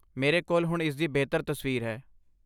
ਮੇਰੇ ਕੋਲ ਹੁਣ ਇਸਦੀ ਬਿਹਤਰ ਤਸਵੀਰ ਹੈ।